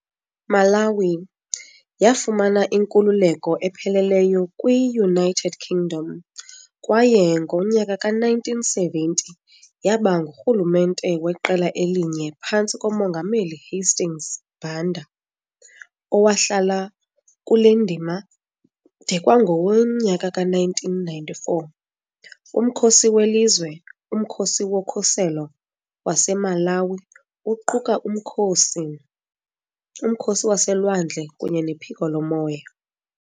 Yafumana inkululeko epheleleyo kwi-United Kingdom, kwaye ngo-1970 yaba ngurhulumente weqela elinye phantsi komongameli Hastings Banda, owahlala kule ndima de kwangowe-1994. Umkhosi welizwe, uMkhosi woKhuselo waseMalawi, uquka umkhosi, umkhosi waselwandle kunye nephiko lomoya.